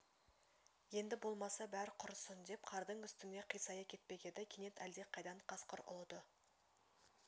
енді болмаса бәр құрысын деп қардың үстіне қисая кетпек еді кенет әлдеқайдан қасқыр ұлыды